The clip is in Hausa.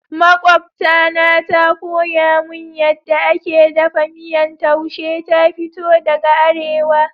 Makwabta na ta koya mun yadda ake daffa miyan taushe. Ta fito daga arewa.